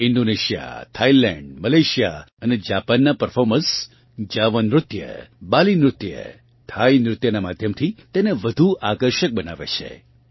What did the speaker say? Indonesia Thailand Malaysia અને જાપાનનાં performers Java નૃત્ય બાલી નૃત્ય થાઈ નૃત્યનાં માધ્યમથી તેને વધુ આકર્ષક બનાવે છે